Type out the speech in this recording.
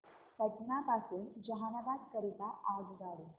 पटना पासून जहानाबाद करीता आगगाडी